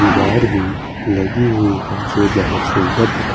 दीवार भी लगी हुई है जो बोहोत सुन्दर दिखा--